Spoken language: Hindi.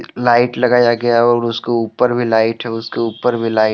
लाइट लगाया गया और उसके ऊपर भी लाइट है उसके ऊपर भी लाइट --